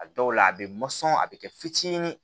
A dɔw la a bɛ a bɛ kɛ fitinin ye